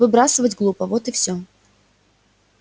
выбрасывать глупо вот и всё